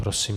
Prosím.